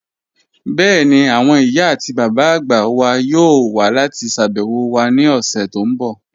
Bẹ́ẹ̀ni, awọn iyà ati baba agba wà yọọ̀ wà lati ṣàbẹwo wa ni ọṣẹ̀ ti n bọ́